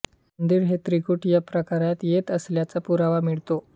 मंदिर हे ञिकुट या प्रकारात येत असल्याचा पुरावा मिळतो